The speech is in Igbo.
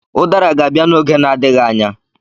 Udara ga-abịa n'oge na-adịghị anya.